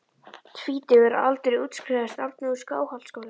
Tvítugur að aldri útskrifaðist Árni úr Skálholtsskóla.